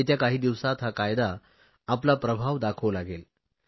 येत्या काही दिवसात हा कायदा आपला प्रभाव दाखवू लागेल